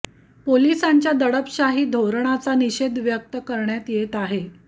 पोलिसांच्या दडपशाही धोरणाचा निषेध व्यक्त करण्यात येत आहे